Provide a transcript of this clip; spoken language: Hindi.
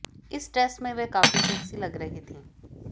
इस ड्रेस में वह काफी सेक्सी लग रही थी